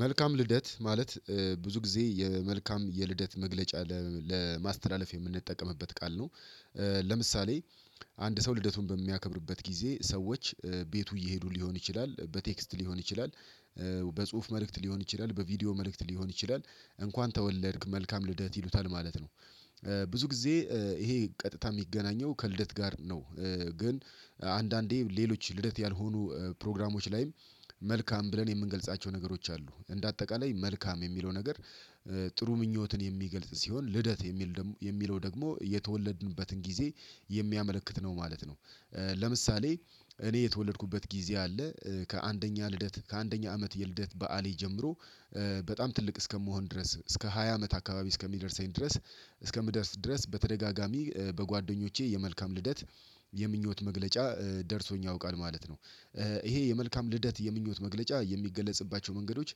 መልካም ልደት ፥ማለት ብዙ ጊዜ የመልካም የልደት መግለጫ ለማስተላለፍ የምንጠቀምበት ቃል ነው። ለምሳሌ አንድ ሰው ልደቱን በሚያከብርበት ጊዜ ሰዎች ቤቱ እየሄዱ ሊሆን ይችላል በቴክስት ሊሆን ይችላል በጽሁፍ መልእክት ሊሆን ይችላል በቪዲዮ መልእክት ሊሆን ይችላል እንኳን ተወለድክ መልካም ልደት ይሉታል ማለት ነው። ብዙ ጊዜ ይሄ ቀጥታ የሚገናኘው ከልደት ጋር ነው ግን አንዳንዴ ሌሎች ልደት ያልሆኑ ፕሮግራሞች ላይም መልካም ብለን የምንገልጻቸው ነገሮች አሉ እንደ አጠቃላይ መልካም የሚለው ነገር ጥሩ ምኞትን የሚገልጽ ሲሆን፣ ልደት የሚል ደግሞ የሚለው ደግሞ የተወለድንበትን ጊዜ የሚያመለክት ነው ማለት ነው። ለምሳሌ እኔ የተወለድኩበት ጊዜ አለ ከአንደኛ ልደት ከአንደኛ አመት የልደት በዓሌ ጀምሮ በጣም ትልቅ እስከመሆን ድረስ እስከ ሃያ አመት አካባቢ እስከሚደርሰኝ ድረስ እስከምደርስ ድረስ በተደጋጋሚ በጓደኞቼ የመልካም ልደት የምኞት መግለጫ ደርሶኝ ያውቃል ማለት ነው። ይሄ የመልካም ልደት የምኞት መግለጫ የሚገለጽባቸው መንገዶች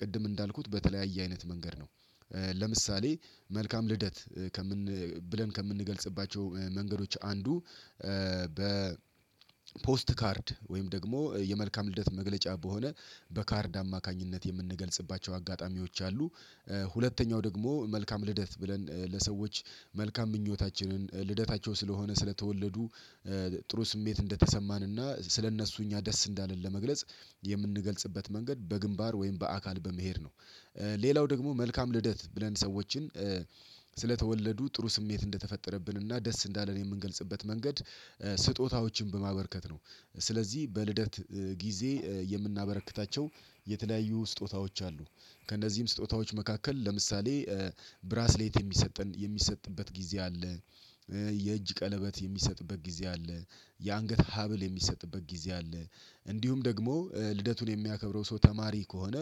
ቅድም እንዳልኩት በተለያየ አይነት መንገድ ነው ለምሳሌ መልካም ልደት ከምን ብለን ከምንገልጽባቸው መንገዶች አንዱ በ ፖስት ካርድ ወይም ደግሞ የመልካም ልደት መግለጫ በሆነ በካርድ አማካኝነት የምንገልጽባቸው አጋጣሚዎች አሉ ሁለተኛው ደግሞ መልካም ልደት ብለን ለሰዎች መልካም ምኞታችንን ልደታቸው ስለሆነ ስለተወለዱ ጥሩ ስሜት እንደተሰማን እና ስለእነሱ እኛ ደስ እንዳለን ለመግለጽ የምንገልጽበት መንገድ በግንባር ወይም በአካል በመሄድ ነው ሌላው ደግሞ መልካም ልደት ብለን ሰዎችን ስለተወለዱ ጥሩ ስሜት እንደተፈጠረብን እና ደስ እንዳለ ነው የምንገልጽበት መንገድ ስጦታዎችን በማበርከት ነው ስለዚህ በልደት ጊዜ የምናበረክታቸው የተለያዩ ስጦታዎች አሉ። ከእነዚህም ስጦታዎች መካከል ለምሳሌ ብራስሌት የሚሰጠን የሚሰጥበት ጊዜ አለ የእጅ ቀለበት የሚሰጥበት ጊዜ አለ፤ የአንገት ሀብል የሚሰጥበት ጊዜ አለ፤ እንዲሁም ደግሞ ልደቱን የሚያከብረው ሰው ተማሪ ከሆነ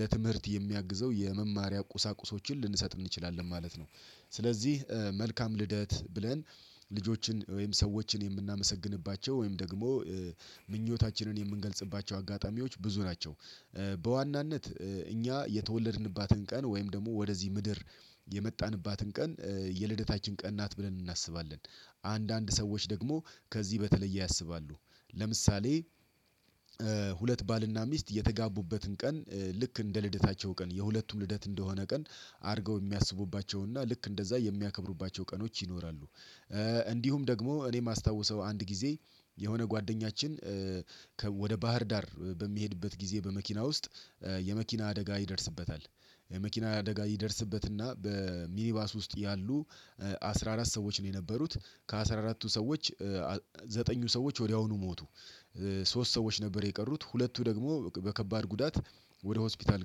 ለትምህርት የሚያግዘው የመማሪያ ቁሳቁሶችን ልንሰጥ እንችላለን ማለት ነው ስለዚህ መልካም ልደት ብለን ልጆችን ወይም ሰዎችን የምናመሰግንባቸው ወይም ደግሞ ምኞታችንን የምንገልጽባቸው አጋጣሚዎች ብዙ ናቸው በዋናነት እኛ የተወለድንባትን ቀን ወይም ደግሞ ወደዚህ ምድር የመጣንባትን ቀን የልደታችን ቀን ናት ብለን እናስባለን። አንዳንድ ሰዎች ደግሞ ከዚህ በተለየ ያሰባሉ። ለምሳሌ ሁለት ባልና ሚስት የተጋቡበትን ቀን ልክ እንደ ልደታቸው ቀን የሁለቱም ልደት እንደሆነ ቀን አድርገው የሚያስቡባቸውና ልክ እንደዛ የሚያከብሩባቸው ቀኖች ይኖራሉ እንዲሁም ደግሞ እኔ የማስታውሰው አንድ ጊዜ የሆነ ጓደኛችን ወደ ባህር ዳር በሚሄድበት ጊዜ በመኪና ውስጥ የመኪና አደጋ ይደርስበታ፣ የመኪና አደጋ ይደርስበትና በሚኒባስ ውስጥ ያሉ አስራ አራት ሰዎች ነው የነበሩት ከአስራ አራቱ ሰዎች ዘጠኙ ሰዎች ወዲያውኑ ሞቱ ሶስት ሰዎች ነበር የቀሩት ሁለቱ ደግሞ በከባድ ጉዳት ወደ ሆስፒታል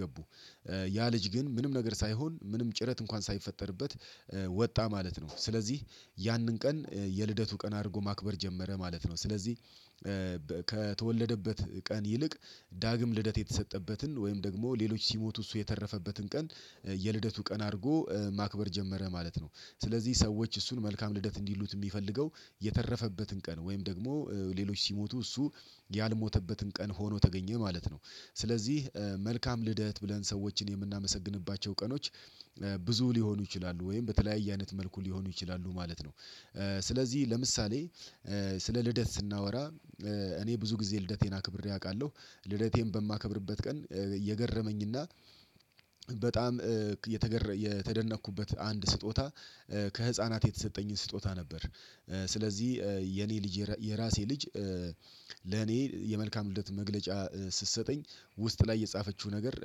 ገቡ። ያ ልጅ ግን ምንም ነገር ሳይሆን ምንም ጭረት እንኳን ሳይፈጠርበት ወጣ ማለት ነው ስለዚህ ያንን ቀን የልደቱ ቀን አድርጎ ማክበር ጀመረ ማለት ነው። ስለዚህ ከተወለደበት ቀን ይልቅ ዳግም ልደት የተሰጠበትን ወይም ደግሞ ሌሎች ሲሞቱ እሱ የተረፈበትን ቀን የልደቱ ቀን አድርጎ ማክበር ጀመረ ማለት ነው። ስለዚህ ሰዎች እሱን መልካም ልደት እንዲሉት የሚፈልገው የተረፈበትን ቀን ወይም ደግሞ ሌሎች ሲሞቱ እሱ ያልሞተበትን ቀን ሆኖ ተገኘ ማለት ነው። ስለዚህ መልካም ልደት ብለን ሰዎችን የምናመሰግንባቸው ቀኖች ብዙ ሊሆኑ ይችላሉ ወይም በተለያየ አይነት መልኩ ሊሆኑ ይችላሉ ማለት ነው። ስለዚህ ለምሳሌ ስለ ልደት ስናወራ እኔ ብዙ ጊዜ ልደቴን አክብሬ አውቃለሁ ልደቴን በማከብርበት ቀን እየገረመኝና በጣም የተደነቅኩበት አንድ ስጦታ ከህፃናት የተሰጠኝን ስጦታ ነበር ስለዚህ የኔ ልጅ የራሴ ልጅ ለኔ የመልካም ልደት መግለጫ ስትሰጠኝ ውስጥ ላይ የጻፈችው ነገር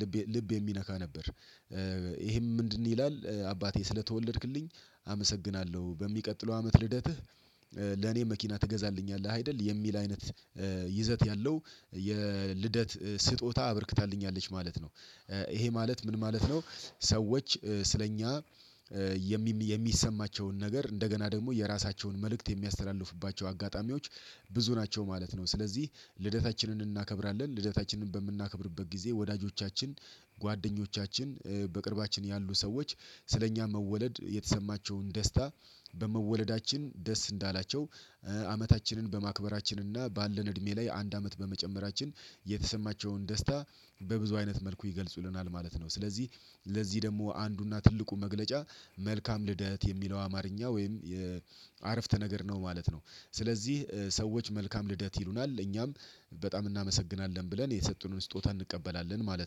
ልብ ልብ የሚነካ ነበር ይሄም ምንድነው ይላል አባቴ ስለተወለድክልኝ አመሰግናለሁ በሚቀጥለው አመት ልደትህ ለኔ መኪና ትገዛልኛለህ አይደል የሚል አይነት ይዘት ያለው የልደት ስጦታ አበርክታልኛለች ማለት ነው ይሄ ማለት ምን ማለት፥ ነው ሰዎች ስለእኛ የሚሰማቸውን ነገር እንደገና ደግሞ የራሳቸውን መልእክት የሚያስተላልፍባቸው አጋጣሚዎች ብዙ ናቸው ማለት ነው ስለዚህ ልደታችንን እናከብራለን ልደታችንን በምናከብርበት ጊዜ ወዳጆቻችን፤ ጓደኞቻችን፤ በቅርባችን ያሉ ሰዎች ስለኛ መወለድ የተሰማቸውን ደስታ በመወለዳችን ደስ እንዳላቸው አመታችንን በማክበራችንና ባለን እድሜ ላይ አንድ አመት በመጨመራችን የተሰማቸውን ደስታ በብዙ አይነት መልኩ ይገልጹልናል ማለት ነው። ስለዚህ ለዚህ ደግሞ አንዱና ትልቁ መግለጫ መልካም ልደት የሚለው አማርኛ ወይም የአረፍተ ነገር ነው ማለት ነው። ስለዚህ ሰዎች መልካም ልደት ይሉናል እኛም በጣም እናመሰግናለን ብለን የሰጡንን ስጦታ እንቀበላለን ማለት